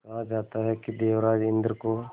कहा जाता है कि देवराज इंद्र को